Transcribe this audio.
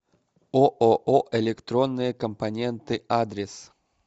ооо электронные компоненты адрес